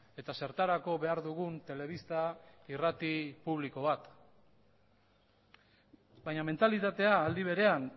eta zertarako behar dugun telebista irrati publiko bat baina mentalitatea aldi berean